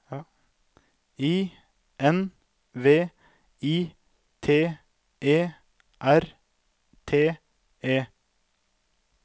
I N V I T E R T E